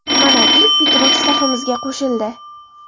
Mana, ilk bitiruvchi safimizga qo‘shildi.